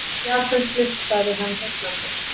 Japönsk list sagði hann, heillandi.